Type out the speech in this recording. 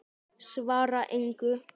Svara engu.